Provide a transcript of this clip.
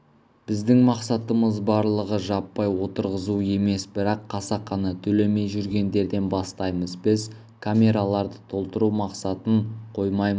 біздің мақсатымыз барлығы жаппай отырғызу емес бірақ қасақана төлемей жүргендерден бастаймыз біз камераларды толтыру мақсатын қоймамыз